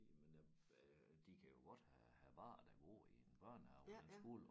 Men øh øh de kan jo godt have have børn der går i en børnehave eller en skole